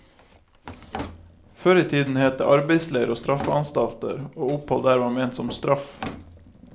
Før i tiden het det arbeidsleir og straffeanstalter, og opphold der var ment som straff.